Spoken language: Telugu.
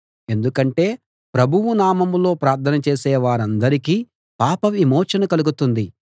ఎందుకంటే ప్రభువు నామంలో ప్రార్థన చేసే వారందరికీ పాపవిమోచన కలుగుతుంది